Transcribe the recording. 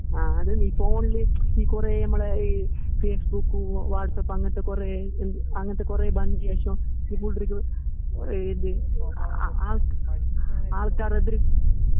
ആ അത്നീ ഫോണില് ജ്ജ് ഈകുറേഞമ്മള് ഈഹ് ഫേസ്ബുക്കു, വാട്സപ്പ് അങ്ങനത്തെകുറേ എന്ത് അങ്ങനത്തെകുറേ ബന്ദിയശം ഹിബുൽഡ്രിഗ്‌ ഒറേത് അ ആൾറ്റാരെത്റിക്